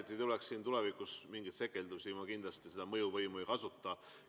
Et ei tuleks siin tulevikus mingeid sekeldusi, ma kindlasti seda mõjuvõimu ei kasuta.